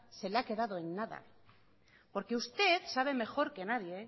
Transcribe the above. se le ha quedado en nada porque usted sabe mejor que nadie